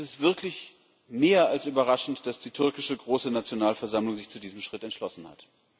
Es ist wirklich mehr als überraschend, dass die türkische Große Nationalversammlung sich zu diesem Schritt entschlossen hat.